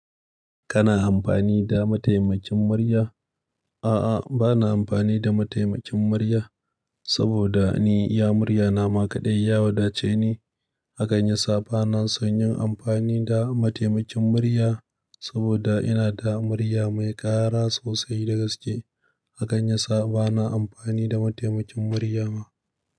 Kana amfani da mataimakin murya? A'a, ba na amfani da mataimakin murya, saboda ni iya murya nama kaɗai. Ya wadace ni, hakan yasa ba na son yin amfani da mataimakin murya. Saboda ina da murya mai ƙara sosai da gaske, hakan ya sa ba na amfani da mataimakin murya ba.